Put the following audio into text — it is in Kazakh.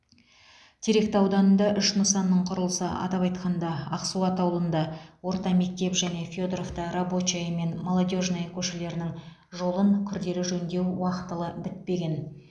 теректі ауданында үш нысанның құрылысы атап айтқанда ақсуат ауылында орта мектеп және федоровта рабочая мен молодежная көшелерінің жолын күрделі жөндеу уақтылы бітпеген